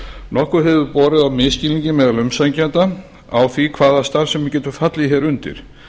nokkuð hefur borið á misskilningi meðal umsækjenda á því hvaða starfsemi getur fallið undir